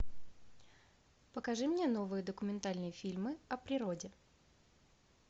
покажи мне новые документальные фильмы о природе